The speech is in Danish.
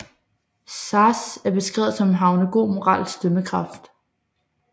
Sazh er beskrevet som havende god moralsk dømmekraft